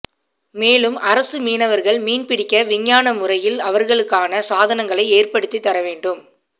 மேலும் அரசு மீனவர்கள் மீன்பிடிக்க விஞ்ஞான முறையில் அவர்களுக்கான சாதனங்களை ஏற்படுத்தி தரவேண்டும்